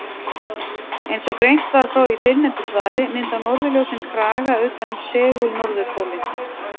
Eins og greint var frá í fyrrnefndu svari mynda norðurljósin kraga utan um segul-norðurpólinn.